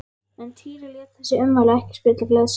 En Týri lét þessi ummæli ekki spilla gleði sinni.